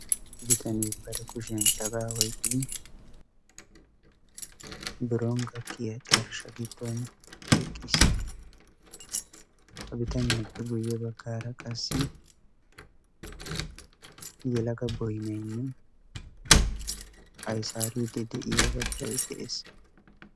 bitaniyaa bare kushiyan cagaa hoiqqidi bironggakkiya carshsha giddon eqqiis ha bitaniyaappe guyye baggaara qassi yalaga boinainne aisaari de'iya badalay de'ees